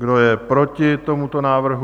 Kdo je proti tomuto návrhu?